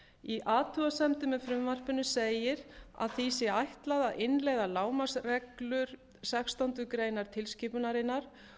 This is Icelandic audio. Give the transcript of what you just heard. í athugasemdum með frumvarpinu segir að því sé ætlað að innleiða lágmarksreglur sextándu grein tilskipunarinnar